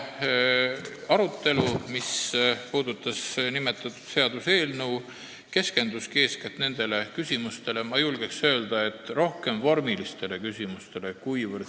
Arutelu nimetatud seaduseelnõu üle keskendus, ma julgeks öelda, rohkem vormilistele kui sisulistele küsimustele.